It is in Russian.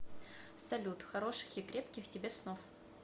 салют хороших и крепких тебе снов